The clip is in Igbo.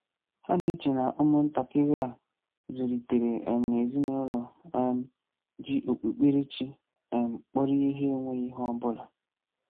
Ha na-eche na ụmụntakịrị a zụlitere um n'ezinụụlọ um ji okpukperechi um kpọrọ ihe enweghị ihe ọbụla.